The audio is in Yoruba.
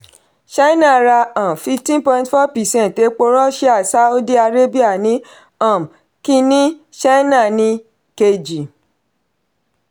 china ra um fifteen point four percent epo russia sáúdí arábíà ni um kìíní china ni kejì.